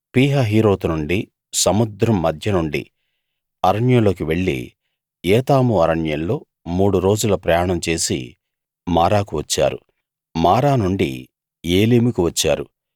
పీహహీరోతు నుండి సముద్రం మధ్య నుండి అరణ్యంలోకి వెళ్ళి ఏతాము అరణ్యంలో మూడు రోజుల ప్రయాణం చేసి మారాకు వచ్చారు మారా నుండి ఏలీముకు వచ్చారు